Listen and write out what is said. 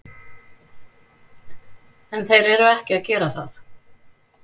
En þeir eru ekki að gera það.